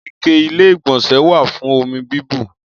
Ike Ilé-ìgbọ̀nsẹ̀ wà fún omi bíbù.